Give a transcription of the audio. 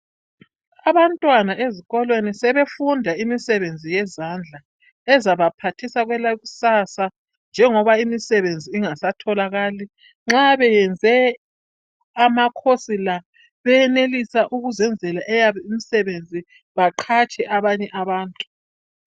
Abantwana ezikolweni sebefunda imisebenzi yezandla ezabaphathisa kwelakusasa, njengoba imisebenzi ingasatholakali. Nxa benze amacourse la, bayenelisa ukuzenzela eyabo imisebenzi. Baqhatshe abanye abantu.